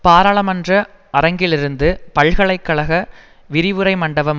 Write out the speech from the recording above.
பாராளுமன்ற அரங்கிலிருந்து பல்கலை கழக விரிவுரை மண்டபம்